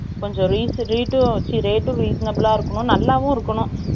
கொஞ்சம், rate உம், reasonable ஆ இருக்கணும். நல்லாவும் இருக்கணும்.